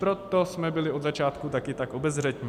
Proto jsme byli od začátku také tak obezřetní.